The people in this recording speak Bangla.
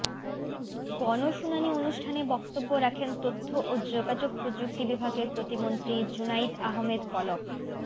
গণশুনানি অনুষ্ঠানে বক্তব্য রাখেন তথ্য ও যোগাযোগ প্রযুক্তি বিভাগের প্রতিমন্ত্রী জুনাইদ আহমেদ পলক